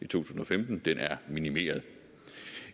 tusind og femten minimeret